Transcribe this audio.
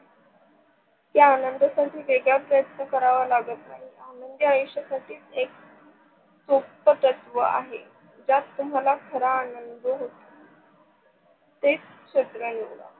या आनंदासाठी वेगळा प्रयत्न करावा लागत नाही. आनंदी आयुष्य साठी एक खूप तुम्हाला खरा आनंद होतो. तेच क्षेत्र निवड